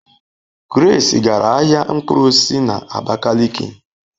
Grace gara ahia mkpụrụ osisi na Abakaliki